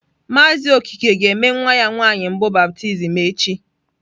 Mazị Okeke ga-eme nwa ya nwanyị mbụ baptizim echi.